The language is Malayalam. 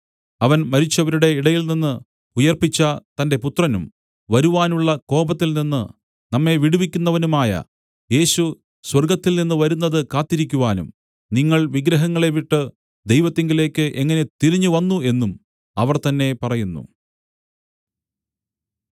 അവൻ മരിച്ചവരുടെ ഇടയിൽ നിന്നു ഉയിർപ്പിച്ച തന്റെ പുത്രനും വരുവാനുള്ള കോപത്തിൽനിന്ന് നമ്മെ വിടുവിക്കുന്നവനുമായ യേശു സ്വർഗ്ഗത്തിൽനിന്ന് വരുന്നത് കാത്തിരിക്കുവാനും നിങ്ങൾ വിഗ്രഹങ്ങളെ വിട്ടു ദൈവത്തിങ്കലേക്ക് എങ്ങനെ തിരിഞ്ഞുവന്നു എന്നും അവർ തന്നേ പറയുന്നു